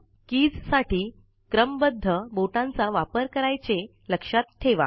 keys साठी क्रमबद्ध बोटांचा वापर कारायचे लक्षात ठेवा